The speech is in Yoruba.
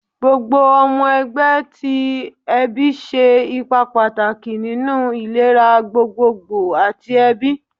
Gbogbo ọmọ ẹgbẹ ti ẹbi ṣe ipa pataki ninu ilera gbogbogbo ati ẹbi